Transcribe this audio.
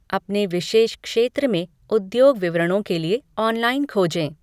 अपने विशेष क्षेत्र में उद्योग विवरणों के लिए ऑनलाइन खोजें।